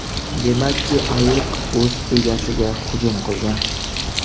Demakki, ayiq o‘z egasiga hujum qilgan.